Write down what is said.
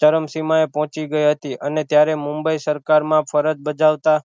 ચરણ સીમા એ પોહચી ગઇ હતી અને ત્યારે મુંબઈ સરકાર માં ફરજ બજાવતા